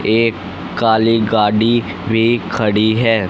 एक काली गाड़ी भी खड़ी है।